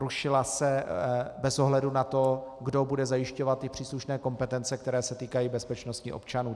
Rušila se bez ohledu na to, kdo bude zajišťovat ty příslušné kompetence, které se týkají bezpečnosti občanů.